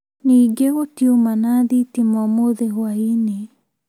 Ningĩ gũtiuma na thitima ũmũthĩ hwai-inĩ